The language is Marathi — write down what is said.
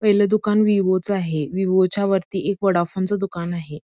पहिलं दुकान विवो च आहे विवो च्या वरती एक वोडाफोन दुकान आहे.